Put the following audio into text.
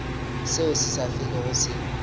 seo se sa felego se